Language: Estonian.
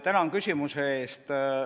Tänan küsimuse eest!